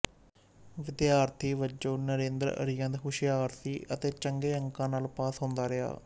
ਵਿਦਿਆਰਥੀ ਵਜੋਂ ਨਰੇਂਦਰ ਅਤਿਅੰਤ ਹੁਸ਼ਿਆਰ ਸੀ ਅਤੇ ਚੰਗੇ ਅੰਕਾਂ ਨਾਲ ਪਾਸ ਹੁੰਦਾ ਰਿਹਾ